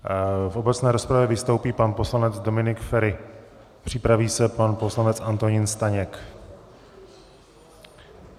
V obecné rozpravě vystoupí pan poslanec Dominik Feri, připraví se pan poslanec Antonín Staněk.